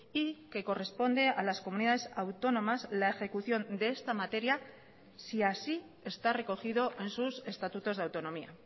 y que corresponde a las comunidades autónomas la ejecución de esta materia si así está recogido en sus estatutos de autonomía